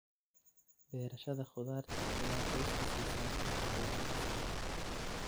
Beerashada khudaarta ayaa qoyska siisa nafaqo wanaagsan.